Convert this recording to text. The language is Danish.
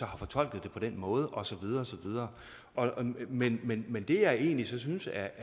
har fortolket det på den måde og så videre og så videre men men det jeg egentlig så synes er